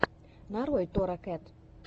нарой тора кэт